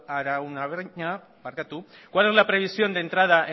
araunabeña cuál es la previsión de entrada